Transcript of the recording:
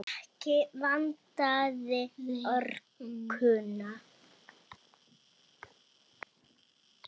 Ekki vantaði orkuna.